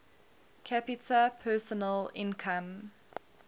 capita personal income